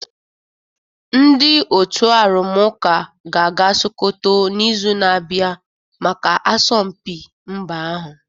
Ndị otu arụmụka ga-aga Sokoto n'izu na-abịa maka asọmpi mba ahụ